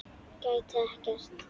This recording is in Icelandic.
Gæti ekkert.